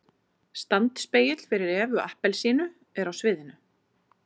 Standspegill fyrir EVU APPELSÍNU er á sviðinu.